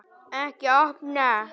Að snúa vörn í sókn.